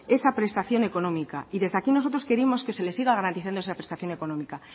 esa prestación económica y desde aquí nosotros queremos que se le siga garantizando esa prestación económica